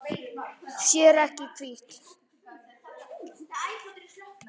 Sér ekki í hvítt.